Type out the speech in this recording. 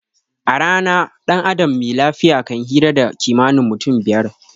A rana dan adam me lafiya kan hira da kimanin mutum fiyar